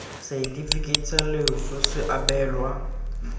setefikeiti sa loso se abelwa